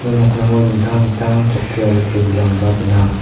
ia nokningo dingtang dingtang chokki aro tebilrangba gnang.